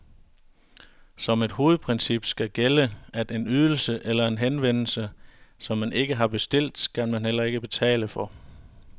Som et hovedprincip skal gælde, at en ydelse eller en henvendelse, som man ikke har bestilt, skal man heller ikke betale for.